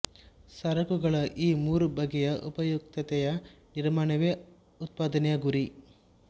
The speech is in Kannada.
ಸರಕುಗಳ ಈ ಮೂರು ಬಗೆಯ ಉಪಯುಕ್ತತೆಯ ನಿರ್ಮಾಣವೇ ಉತ್ಪಾದನೆಯ ಗುರಿ